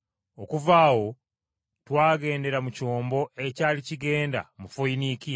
Okuva awo twagendera mu kyombo ekyali kigenda mu Foyiniikiya.